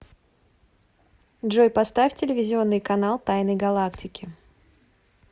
джой поставь телевизионный канал тайны галактики